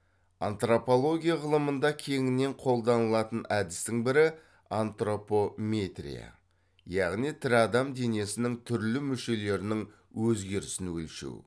антропология ғылымында кеңінен қолданылатын әдістің бірі антропометрия яғни тірі адам денесінің түрлі мүшелерінің өзгерісін өлшеу